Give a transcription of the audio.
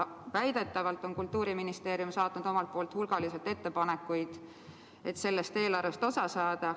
Väidetavalt on Kultuuriministeerium saatnud omalt poolt hulgaliselt ettepanekuid, et sellest eelarvest osa saada.